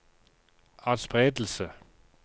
atspredelse